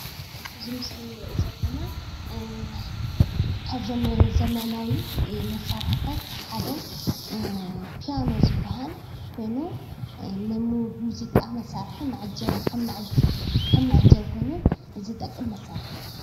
እዚ ምስሊ እንሪኦ ዘለና ካብዞም ዘመናዊ መሳሪሒታት ሓደ ፕያኖ ዝባሃል ኮይኑ ንሙዚቃ መሳሪሒ ከም መዐጀቢ ኮይኑ ዝጠቅም መሳሪሒ እዩ፡፡